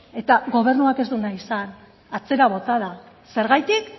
eta gobernuak ez du nahi izan atzera bota da zergatik